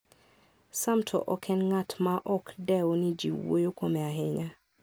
Sam to ok en ng'at maok dew ni ji wuoyo kuome ahinya.